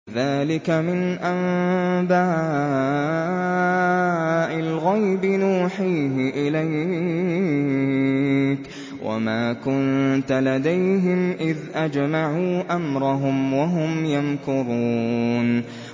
ذَٰلِكَ مِنْ أَنبَاءِ الْغَيْبِ نُوحِيهِ إِلَيْكَ ۖ وَمَا كُنتَ لَدَيْهِمْ إِذْ أَجْمَعُوا أَمْرَهُمْ وَهُمْ يَمْكُرُونَ